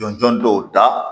Jɔn jɔn dɔw da